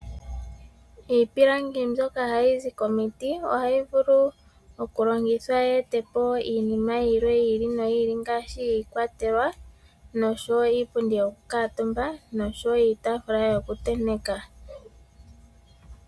Iipilangi mbyoka hayi zi komiiti ohayi vulu okulongithwa yi ete po iinima yilwe yi ili noyi ili, ngaashi iikwatelwa nosho wo iipundi yo kukatumba nosho wo iitafula yo kutenteka.